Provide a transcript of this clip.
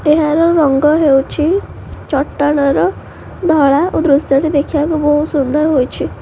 ଏହାର ରଙ୍ଗ ହେଉଛି ଚଟାଣର ଧଳା ଓ ଦୃଶ୍ୟ ଟି ଦେଖିବାକୁ ବହୁତ୍ ସୁନ୍ଦର ହୋଇଛି।